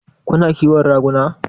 Kuna ƙiwon raguna?